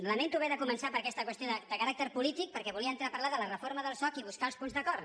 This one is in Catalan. lamento haver de començar per aquesta qüestió de caràcter polític perquè volia entrar a parlar de la re·forma del soc i buscar els punts d’acord